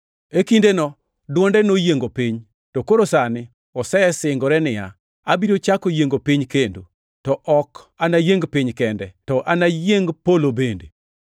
E kindeno dwonde noyiengo piny, to koro sani osesingore niya, “Abiro chako yiengo piny kendo. To ok anayieng piny kende, to anayieng polo bende.” + 12:26 \+xt Hag 2:6\+xt*